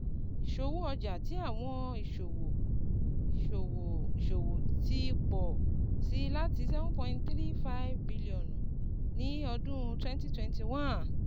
Iṣowo ọja ti Awọn Iṣowo Iṣowo Iṣowo ti pọ si lati N7.35 bilionu ni ọdun 2021